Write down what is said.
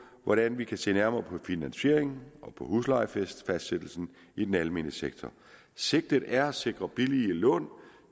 hvordan vi kan se nærmere på finansiering og på huslejefastsættelse i den almene sektor sigtet er at sikre billige lån